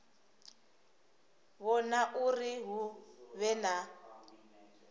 vhona uri hu vhe na